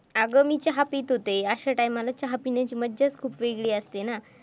अगं मी चहा पित होते अशा time ला चहा पिण्याची मजाच खूप वेगळी असते ना.